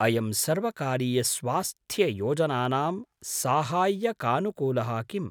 अयं सर्वकारीयस्वास्थ्ययोजनानां साहाय्यकानुकूलः किम्?